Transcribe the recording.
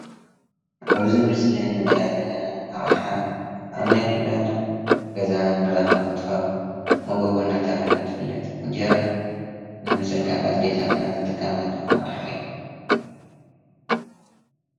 ኣብዚ ምስሊ ንሪኣ ዘለና ኣቕሓ ኣብ ናይ ኩላትና ገዛ ንረኽባ እንትትከውን መጎጎ እናተባህለት ትፍለጥ፡፡ እንጀራ ንምስንካት ኣዴታትና ዝጥቀማላ ኣቕሓ እያ፡፡